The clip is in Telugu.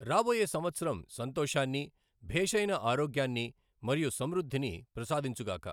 రాబోయే సంవత్సరం సంతోషాన్ని, భేషైన ఆరోగ్యాన్ని మరియు సమృద్ధిని ప్రసాదించుగాక.